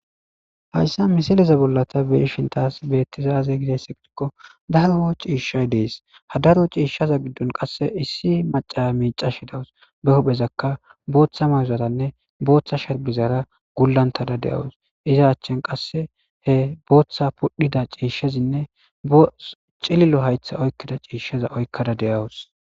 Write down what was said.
Hayssa misileza bollata beeshin taas beetizaaze gidesse gidikko daroo ciishshay dees hadaro ciishshaza giddon qasse issi maca miica shidawus be huphezakka booththa mayuzaranne booththa sherbizara gullantada deyawus iza achchen qasse he booththa pudhida ciishshezinne cililo haytha oykkida ciishsheza oykkada deyawus.